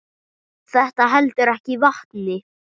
Þetta heldur ekki vatni.